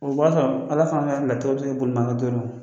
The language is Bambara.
O b'a sɔrɔ Ala fana ka latigɛ bi se ka bolina